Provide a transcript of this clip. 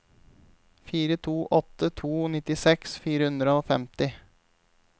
fire to åtte to nittiseks fire hundre og femti